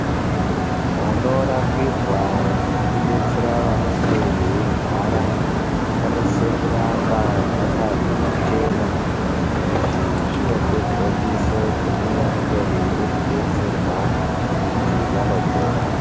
Panorapirwa nekudetsera vanenge veirwara panosise kuramba pakachena izvi zvinopegondiso kune vanenge veide kudetserwa kuti vanopora.